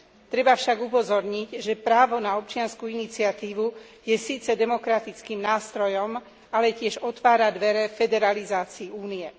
Treba však upozorniť, že právo na občiansku iniciatívu je síce demokratickým nástrojom, ale tiež otvára dvere federalizácii Únie.